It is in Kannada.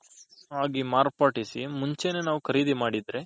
ಆಗಿ ಮಾರ್ಪಡಿಸಿ ಮುಂಚೆನೇ ನಾವು ಖರೀದಿ ಮಾಡಿದ್ರೆ.